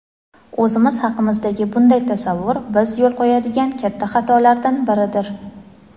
O‘zimiz haqimizdagi bunday tasavvur biz yo‘l qo‘yadigan katta xatolardan biridir.